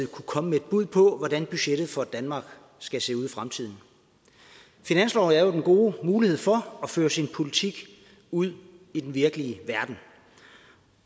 kunne komme med et bud på hvordan budgettet for danmark skal se ud i fremtiden finansloven er jo den gode mulighed for at føre sin politik ud i den virkelige verden